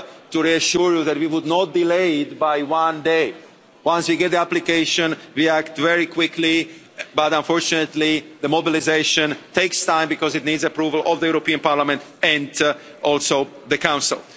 to reassure you that we would not delay it by one day once we get the application, we act very quickly but, unfortunately, the mobilisation takes time because it needs approval of the European Parliament and also the Council.